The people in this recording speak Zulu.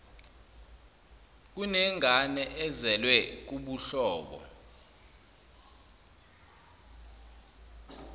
kunengane ezelwe kubuhlobo